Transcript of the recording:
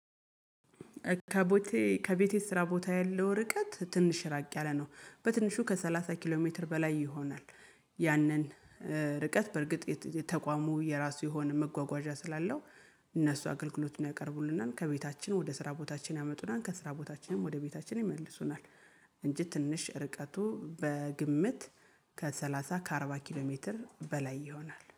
ከቤቴ ከቤቴ ስራ ቦታዬ ያለው ርቀት ትንሽ ራቅ ያለ ነው በትንሹ ከሰላሳ ኪሎ ሜትር በላይ ይሆናል ያንን ርቀት በርግጥ የተቋሙ የራሱ የሆነ መጓጓዣ ስላለው እነሱ አገልግሎቱን ያቀርቡልናል ከቤታችን ወደ ስራ ቦታችን ያመጡናል ከስራ ቦታችንም ወደ ቤታችን ይመልሱናል። እንጂ ትንሽ ርቀቱ በግምት ከሰላሳ ከአርባ ኪሎ ሜትር በላይ ይሆናል።